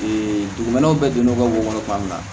dugumɛnɛ bɛɛ donn'o ka wo kɔnɔ